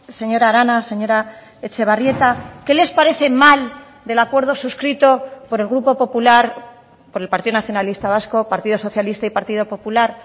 señora arana señora etxebarrieta qué les parece mal del acuerdo suscrito por el grupo popular por el partido nacionalista vasco partido socialista y partido popular